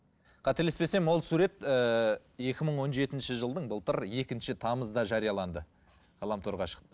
қателеспесем ол сурет ііі екі мың он жетінші жылдың былтыр екінші тамызында жарияланды ғаламторға шықты